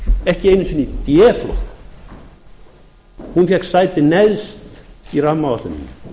ekki einu sinni í d flokk hún fékk sæti neðst í rammaáætluninni